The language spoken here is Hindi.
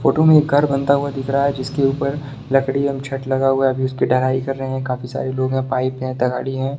फोटो में एक घर बनता हुआ दिख रहा है जिसके ऊपर लड़की या छड़ लगा हुआ हैं अभी उस की ढलाई कर रहे है काफी सरे लोग हैं पाइप है तगाढ़ि हैं।